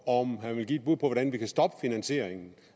om han vil give et bud på hvordan vi kan stoppe finansieringen